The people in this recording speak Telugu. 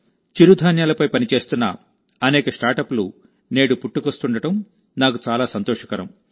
చిరుధాన్యాలపై పనిచేస్తున్న అనేక స్టార్టప్లు నేడు పుట్టుకొస్తుండటం నాకు చాలా సంతోషకరం